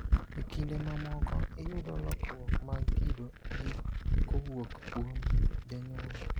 Ekinde mamoko iyudo lokruok mag kido gi kowuok kuom janyuol.